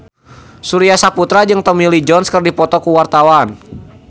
Surya Saputra jeung Tommy Lee Jones keur dipoto ku wartawan